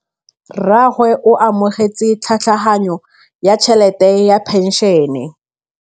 Rragwe o amogetse tlhatlhaganyô ya tšhelête ya phenšene.